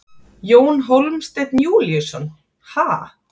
Jón Hólmsteinn Júlíusson: Ha?